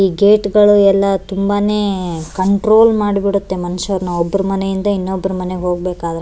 ಈ ಗೇಟ್ಗಳು ಎಲ್ಲ ತುಂಬಾನೇ ಕಂಟ್ರೋಲ್ ಮಾಡಿ ಬಿಡುತ್ತೆ ಮನುಷ್ಯರನ್ನ ಒಬ್ರ್ ಮನೆ ಇಂದ ಇನ್ನೊಬ್ರ ಮನೆಗೆ ಹೋಗ್ಬೇಕಾದ್ರೆ --